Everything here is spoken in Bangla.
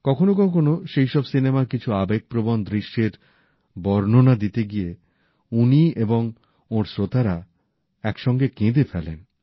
কখনো কখনো সেই সব সিনেমার কিছু আবেগপ্রবণ দৃশ্যের বর্ণনা দিতে গিয়ে উনি এবং ওঁর শ্রোতারা একসঙ্গে কেঁদে ফেলেন